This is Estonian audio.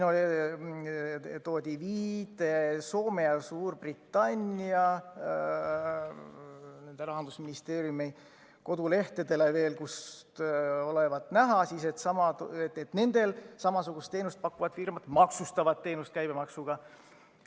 Toodi viide Soome ja Suurbritannia rahandusministeeriumi kodulehtedele, kust olevat näha, et nendel samasugust teenust pakkuvad firmad maksustavad teenust käibemaksuga.